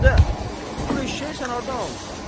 Hədə, bu eşşəyi sən hardan almısan?